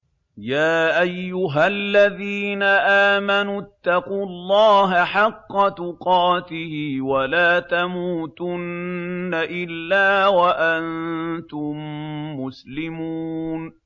يَا أَيُّهَا الَّذِينَ آمَنُوا اتَّقُوا اللَّهَ حَقَّ تُقَاتِهِ وَلَا تَمُوتُنَّ إِلَّا وَأَنتُم مُّسْلِمُونَ